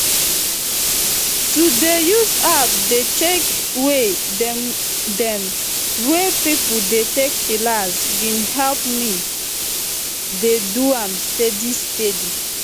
to dey use app dey check way dem wey pipo dey take chillax bin help me dey do am steady steady